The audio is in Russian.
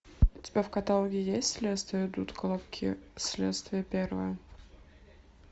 у тебя в каталоге есть следствие ведут колобки следствие первое